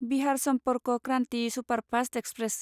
Bihar Sampark Kranti superfast express